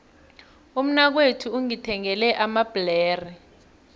umnakwethu ungithengele amabhlere